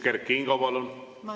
Kert Kingo, palun!